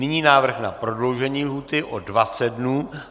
Nyní návrh na prodloužení lhůty o 20 dnů.